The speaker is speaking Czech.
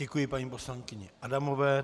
Děkuji paní poslankyni Adamové.